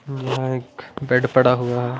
यहाँएक bed पड़ा हुआ हैं ।